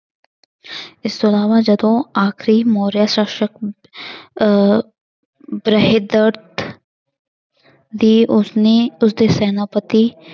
ਇਸ ਤੋਂ ਇਲਾਵਾ ਜਦੋਂ ਆਖਰੀ ਮੌਰੀਆ ਸ਼ਾਸ਼ਕ ਅਹ ਦੀ ਉਸਨੇ ਉਸਦੇ ਸੈਨਾਪਤੀ